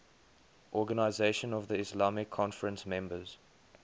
organisation of the islamic conference members